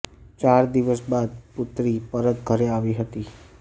ચાર દિવસ બાદ પુત્રી પરત ઘરે આવી હતી